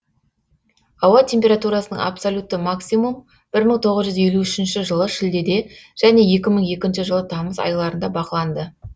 ауа температурасының абсолютті максимум бір мың тоғыз жүз елу үшінші жылы шілдеде және екі мың екінші жылы тамыз айларында бақыланды